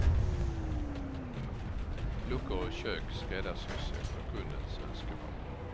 Luckor och kök skräddarsys efter kundens önskemål.